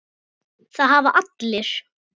Það hafa allir